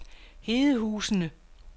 Hedehusene